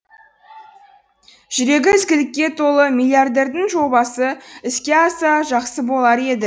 жүрегі ізгілікке толы миллиардердің жобасы іске асса жақсы болар еді